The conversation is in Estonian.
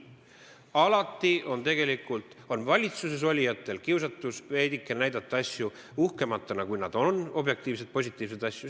Alati on valitsuses olijatel kiusatus näidata asju veidike uhkematena, kui nad on, objektiivseid, positiivseid asju.